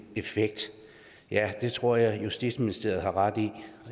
effekt ja det tror jeg justitsministeriet har ret i